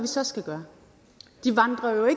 så skal gøre de vandrer jo